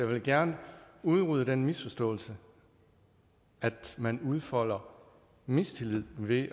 vil gerne udrydde den misforståelse at man udfolder mistillid ved